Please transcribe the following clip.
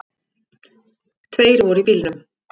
Tveir voru í bílnum